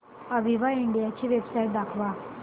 Aviva India ची website दाखवा